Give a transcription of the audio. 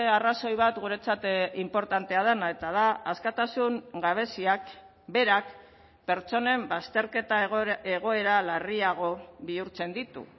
arrazoi bat guretzat inportantea dena eta da askatasun gabeziak berak pertsonen bazterketa egoera larriago bihurtzen ditu